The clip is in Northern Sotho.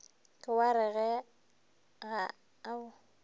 ke wa re ga o